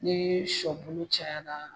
Ni sɔ bulu cayara